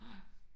Nej